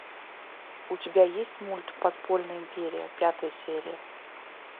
у тебя есть мульт подпольная империя пятая серия